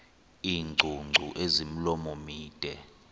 iingcungcu ezimilomo mide